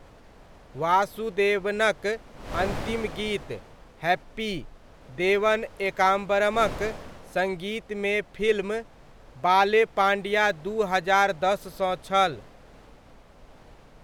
वासुदेवनक अन्तिम गीत 'हैप्पी' देवन एकाम्बरमक सङ्गीतमे फिल्म 'बाले पाण्डिया' दू हजार दस सँ छल।